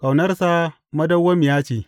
Ƙaunarsa madawwamiya ce.